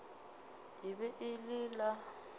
e be e le la